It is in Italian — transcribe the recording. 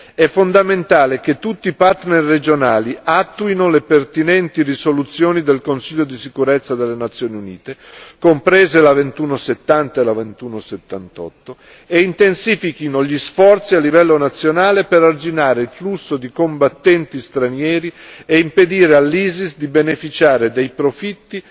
È fondamentale che tutti i partner regionali attuino le pertinenti risoluzioni del Consiglio di sicurezza delle Nazioni Unite, comprese la 2170 e la 2178, e intensifichino gli sforzi a livello nazionale per arginare il flusso di combattenti stranieri e impedire all'ISIS di beneficiare dei profitti